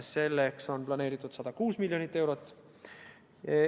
Selleks on planeeritud 106 miljonit eurot.